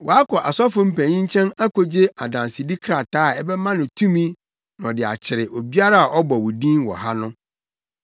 Wakɔ asɔfo mpanyin nkyɛn akogye adansedi krataa a ɛbɛma no tumi na ɔde akyere obiara a ɔbɔ wo din wɔ ha no.”